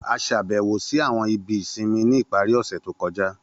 A ṣàbẹ̀wò si àwọn ibi ìsinmi ni ipari ọ̀ṣẹ̀ to kọja.